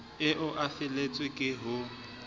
eo e feletswe ke ho